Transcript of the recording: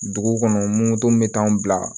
Dugu kɔnɔ moto m bɛ t'anw bila